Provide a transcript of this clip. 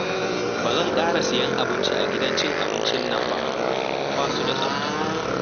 Ba zan ƙara sayen abinci a gidan cin abincin nan ba, ba su da tsafta